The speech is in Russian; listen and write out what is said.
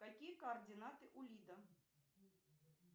какие координаты у лидо